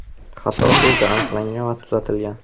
Xato tezda aniqlangan va tuzatilgan.